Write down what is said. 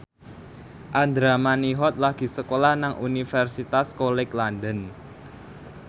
Andra Manihot lagi sekolah nang Universitas College London